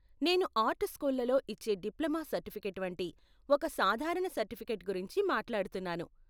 నేను ఆర్ట్ స్కూళ్ళలో ఇచ్చే డిప్లొమా సర్టిఫికేట్ వంటి ఒక సాధారణ సర్టిఫికేట్ గురించి మాట్లాడుతున్నాను.